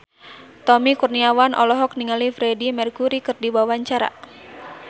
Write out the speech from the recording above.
Tommy Kurniawan olohok ningali Freedie Mercury keur diwawancara